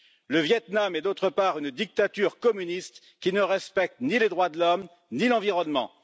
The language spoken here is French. Le Viêt Nam est par ailleurs une dictature communiste qui ne respecte ni les droits de l'homme, ni l'environnement